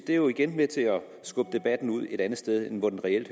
er jo igen med til at skubbe debatten et andet sted hen hvor den reelt